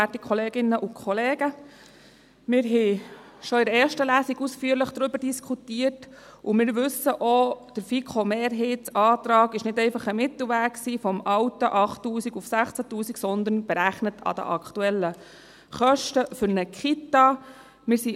Wir haben schon in der ersten Lesung ausführlich darüber diskutiert, und wir wissen auch, der FiKo-Mehrheitsantrag war nicht einfach ein Mittelweg von den alten 8000 auf 16’000 Franken, sondern war anhand der aktuellen Kosten für eine Kita berechnet.